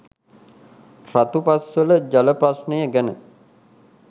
රතුපස්වල ජල ප්‍රශ්නය ගැන